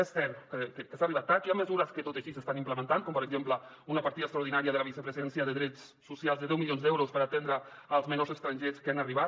és cert que s’ha arribat tard que hi ha mesures que tot i així s’estan implementant com per exemple una partida extraordinària de la vicepresidència de drets socials de deu milions d’euros per atendre els menors estrangers que han arribat